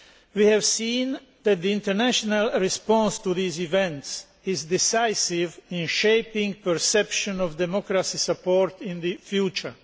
We have seen that the international response to these events is decisive in shaping perception of democracy support in the future.